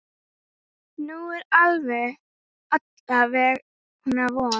Nú er alla vega von.